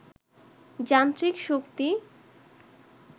যান্ত্রিক শক্তি